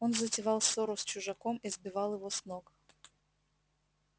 он затевал ссору с чужаком и сбивал его с ног